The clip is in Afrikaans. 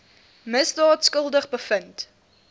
misdaad skuldig bevind